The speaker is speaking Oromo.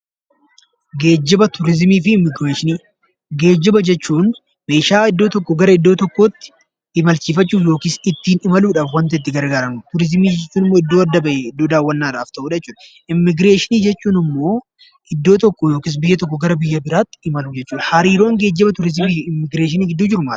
Geejjiba jechuun meeshaalee iddoo tokkoo gara iddoo tokkootti imalsiifachuuf yookiin imaluuf kan itti gargaarramnudha. Turizimii jechuun immoo bakka daawwannaadhaaf adda bahedha. Immigreeshinii jechuun immoo biyya tokkoo gara biyyaa birootti imaluu jechuudha. Hariiroon geejjiba, turizimii fi immigreeshinii maali?